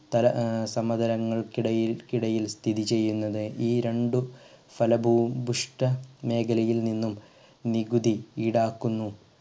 സ്ഥല ഏർ സമതലങ്ങൾക്കിടയിൽ കിടയിൽ സ്ഥിതിചെയ്യുന്നത് ഈ രണ്ടു ഫലഭു ബുഷ്‌ഠ മേഖലയിൽ നിന്നും നികുതി ഈടാക്കുന്നു